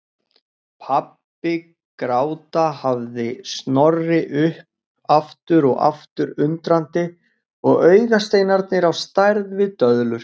Pabbi gráta hafði Snorri upp aftur og aftur undrandi og augasteinarnir á stærð við döðlur.